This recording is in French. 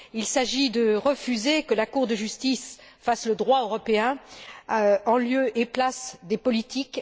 Il s'agit de refuser que la Cour de justice fasse le droit européen en lieu et place des politiques.